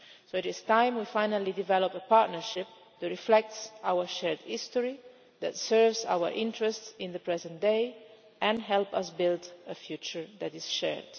So it is time we finally developed a partnership that reflects our shared history, serves our interests in the present day and helps us build a future that is shared.